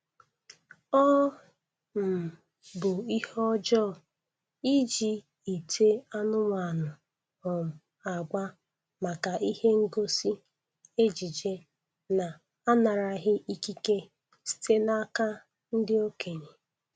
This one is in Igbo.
Ọ um bụ ihe ọjọọ iji ite anụmanụ um agba maka ihe ngosi ejije na-anaraghị ikike site n'aka ndị okenye.